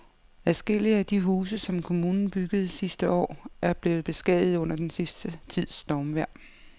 Adskillige af de huse, som kommunen byggede sidste år, er blevet beskadiget under den sidste tids stormvejr.